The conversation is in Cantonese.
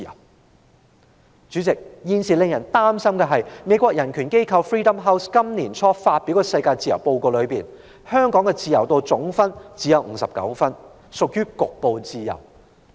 代理主席，令人擔心的是，根據美國人權機構 Freedom House 在年初發表的世界自由年度報告，香港的自由度只有59分，屬於局部自由。